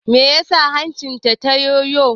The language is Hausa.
Me ya sa hancin ta yoyo?